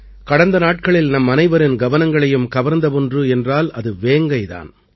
கடந்த நாட்களில் நம்மனைவரின் கவனங்களையும் கவர்ந்த ஒன்று என்றால் அது வேங்கை தான்